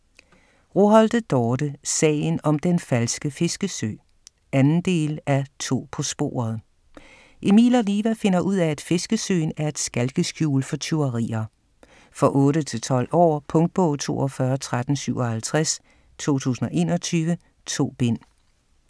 Roholte, Dorte: Sagen om den falske fiskesø 2. del af To på sporet. Emil og Liva finder ud af, at fiskesøen er et skalkeskjul for tyverier. For 8-12 år. Punktbog 421357 2021. 2 bind.